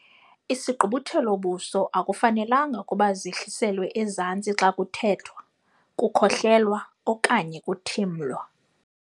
Isigqubuthelo-buso akufanelanga ukuba zehliselwe ezantsi xa kuthethwa, kukhohlelwa okanye kuthimlwa.